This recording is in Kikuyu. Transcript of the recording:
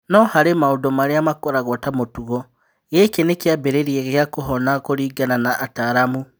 No harĩ maũndũ marĩa makoragwo ta mũtugo, gĩkĩ nĩ kĩambĩrĩria gĩa kũhona kũringana na ataaramu.